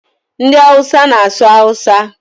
Ndị Hausa na-asụ Awusa